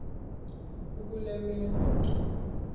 kukule meko ke